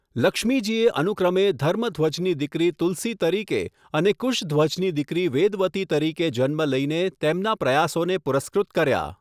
લક્ષ્મીજીએ અનુક્રમે ધર્મધ્વજની દીકરી તુલસી તરીકે અને કુશધ્વજની દીકરી વેદવતી તરીકે જન્મ લઈને તેમના પ્રયાસોને પુરસ્કૃત કર્યા.